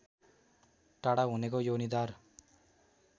टाढा हुनेको योनिद्वार